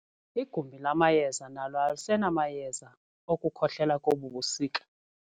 Igumbi lamayeza nalo alisenamayeza okukhohlela kobu busika.